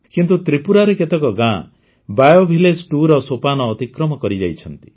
କିନ୍ତୁ ତ୍ରିପୁରାରେ କେତେକ ଗାଆଁ ବିଓ Village2ର ସୋପାନ ଅତିକ୍ରମ କରିଯାଇଛନ୍ତି